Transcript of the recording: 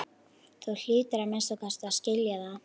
Þú hlýtur að minnsta kosti að skilja það.